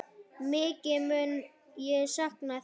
Mikið mun ég sakna þín.